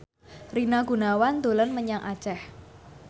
Rina Gunawan dolan menyang Aceh